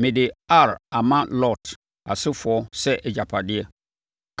mede Ar ama Lot asefoɔ sɛ agyapadeɛ.”